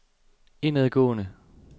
indadgående